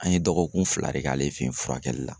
An ye dɔgɔkun fila de k'ale fe yen furakɛli la.